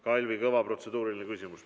Kalvi Kõva, protseduuriline küsimus.